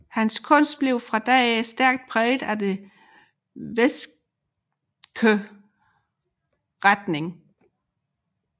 Hans kunst blev fra da af stærkt præget af den westske retning